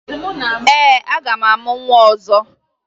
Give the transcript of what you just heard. Ee, aga m amụ nwa ọzọ